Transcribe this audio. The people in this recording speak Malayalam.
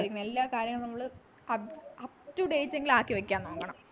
എല്ലാ കാര്യങ്ങളും നമ്മള് up to date എങ്കിലും ആക്കി വയ്ക്കാൻ നോക്കണം